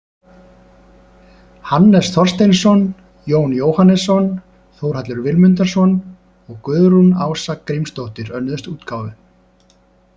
Hannes Þorsteinsson, Jón Jóhannesson, Þórhallur Vilmundarson og Guðrún Ása Grímsdóttir önnuðust útgáfu.